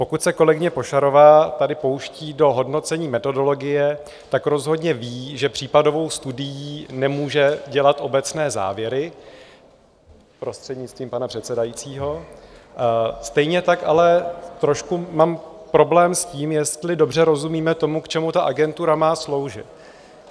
Pokud se kolegyně Pošarová tady pouští do hodnocení metodologie, tak rozhodně ví, že případovou studií nemůže dělat obecné závěry, prostřednictvím pana předsedajícího, stejně tak ale trošku mám problém s tím, jestli dobře rozumíme tomu, k čemu ta Agentura má sloužit.